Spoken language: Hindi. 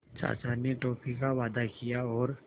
चाचा ने टॉफ़ी का वादा किया और